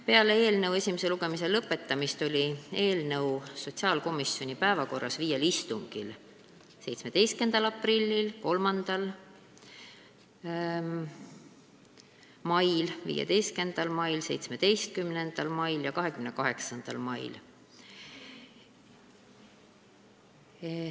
Peale eelnõu esimese lugemise lõpetamist oli eelnõu sotsiaalkomisjoni päevakorras viiel istungil: 17. aprillil, 3. mail, 15. mail, 17. mail ja 28. mail.